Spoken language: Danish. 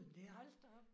Hold da op